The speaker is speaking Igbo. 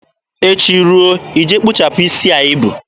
Echi ruo, ị je kpụchapụ isi a i bu.